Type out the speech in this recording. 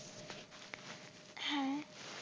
হ্যাঁ